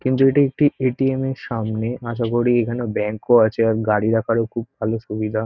কিন্তু এটি একটি এ.টি.এম -এর সামনে আশা করি এখানে ব্যাংক ও আছে আর গাড়ি রাখারও খুব ভালো সুবিধা।